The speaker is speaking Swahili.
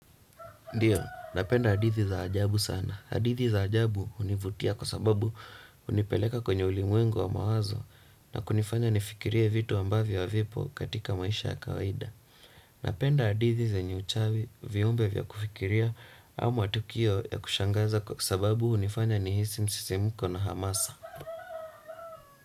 Dio, napenda hadithi za ajabu sana. Hadithi za ajabu univutia kwa sababu unipeleka kwenye ulimwengu wa mawazo na kunifanya nifikirie vitu ambavyo havipo katika maisha ya kawaida. Napenda hadithi zenye uchawi, viumbe vya kufikiria, au matukio ya kushangaza kwa sababu unifanya nihisi msisimuko na hamasa.